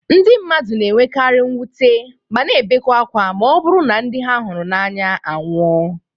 Ndị mmadụ na-enwekari mwute ma na ebekwe ákwá ma ọ bụrụ na ndị ha hụrụ n'anya anwụọ